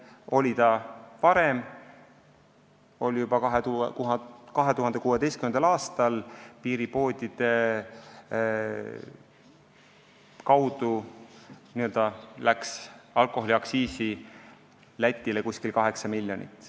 Nii oli see varem, juba 2016. aastal läks piiripoodide kaudu alkoholiaktsiisi Lätile umbes 8 miljonit eurot.